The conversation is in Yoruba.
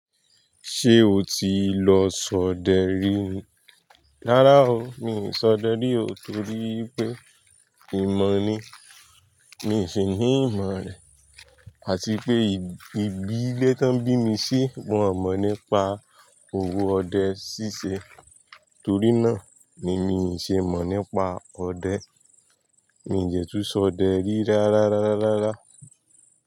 Ṣé o ti lọ ṣọdẹ rí ni? Rárá o, mi ò ṣọdẹ rí o torí pé ìmọ̀ ni, mi ò ṣe ní ìmọ̀ rẹ̀. Àti pé ìbí, ilé tí wón bí mi sí, wón ò mọ̀ nípa òwò ọdẹ ṣíṣe. Torí náà ni mi ò ṣe mọ̀ nípa ọdẹ. Mi ò dẹ tú ṣọdẹ rí rárá, rárá, rárá, rárá.